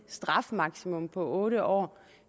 strafmaksimum på otte år